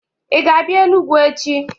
Ị ga-abịa Enugwu echi!